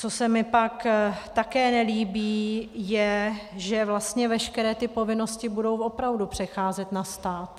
Co se mi pak také nelíbí, je, že vlastně veškeré ty povinnosti budou opravdu přecházet na stát.